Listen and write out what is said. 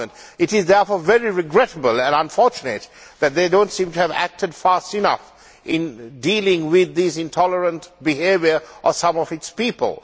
It is therefore very regrettable and unfortunate that they do not seem to have acted fast enough in dealing with this intolerant behaviour by some of their people.